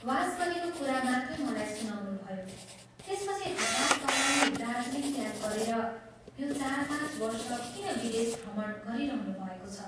वास गरेको कुरा मात्रै मलाई सुनाउनुभयो त्यसपछि हठात् तपाईं दार्जीलिङ त्याग गरेर यो चार पाँच वर्ष किन विदेश भ्रमण गरिरहनुभएको छ?